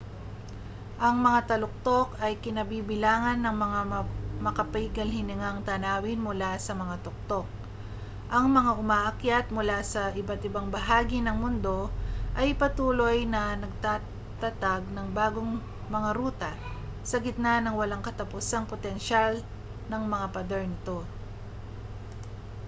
ang mga taluktok ay kinabibilangan ng mga makapigil-hiningang tanawin mula sa mga tuktok ang mga umaakyat mula sa iba't-ibang bahagi ng mundo ay patuloy na nagtatatag ng bagong mga ruta sa gitna ng walang katapusang potensyal ng mga pader nito